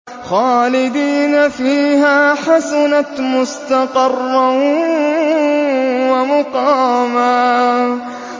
خَالِدِينَ فِيهَا ۚ حَسُنَتْ مُسْتَقَرًّا وَمُقَامًا